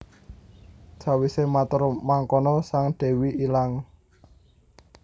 Sawise matur mangkono sang dewi ilang